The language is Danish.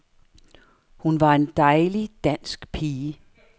Hun var en dejlig, dansk pige.